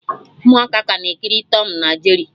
Ụmụaka ka na-ekiri Tọm na Jeri